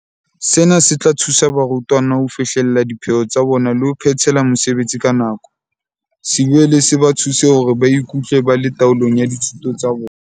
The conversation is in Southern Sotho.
Sena se tla thusa barutwana ho fihlella dipheo tsa bona le ho phethela mosebetsi ka nako, se boele se ba thuse hore ba ikutlwe ba le taolong ya dithuto tsa bona.